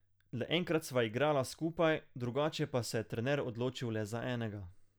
Le enkrat sva igrala skupaj, drugače pa se je trener odločil le za enega.